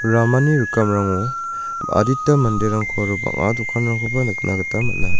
ramani rikamrango adita manderangko aro bang·a dokanrangkoba nikna gita man·a.